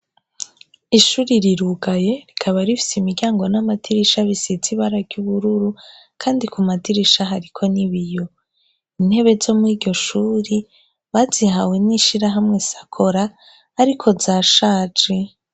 Ishuri rirugaye rikaba rifise imiryango namadirisha bisize ibara ubururu kandi kumadirisha hariko ibiyo. Intebe zo kuriryo shuri bazihawe nishirahamwe SAKORA ariko zashaje.